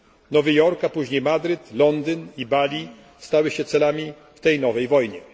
Nowy Jork, a później Madryt, Londyn i Bali stały się celami w tej nowej wojnie.